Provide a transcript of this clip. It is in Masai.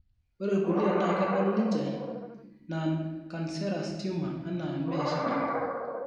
Ore irkulie naa kedol ninje non cancerous tumor anaa mee shida,